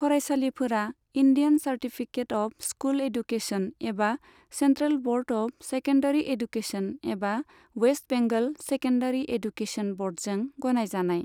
फरायसालिफोरा Indian certificate of school education एबा central board of secondary education एबा West Bengal secondary education ब'र्डजों गनायजानाय।